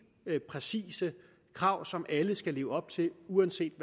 præcise krav som alle skal leve op til uanset